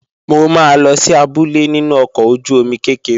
Mo máa lọ sí abúlé nínú ọkọ̀ ojú-omi kékeré